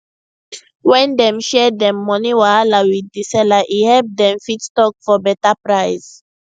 when dem share dem money wahala with di seller e help dem fit talk for beta price